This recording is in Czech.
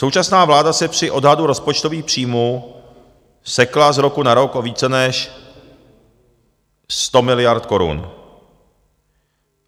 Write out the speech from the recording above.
Současná vláda se při odhadu rozpočtových příjmů sekla z roku na rok o více než 100 miliard korun.